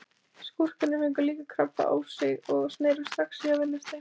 Skúrkarnir fengu líka krabba á sig og snerust strax í að verjast þeim.